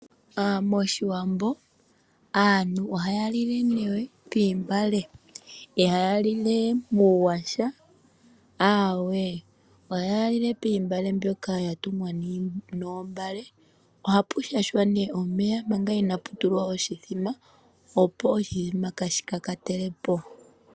Moshiwambo aantu ohaya lile nee moontungwa ihaya lule muuyaha, aawe ohaa lile moontungwa dhoka dha tungwa noombale. Ohapu shashwa nee omeya manga inaa pu tulwa oshimbombo opo oshimbombo kaashi kakatele po.